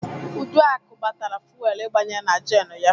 Uduaku gbatara fuwelu igbanye na jenụ ya.